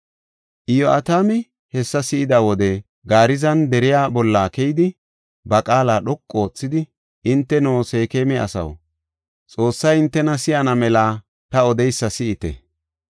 Iyo7atami hessa si7ida wode Garzaana deriya bolla keyidi ba qaala dhoqu oothidi, “Hinteno Seekema asaw, Xoossay hintena si7ana mela ta odeysa si7ite.